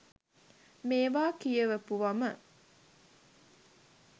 මේව කියවපුවම